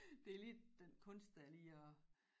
Det lige den kunst dér lige og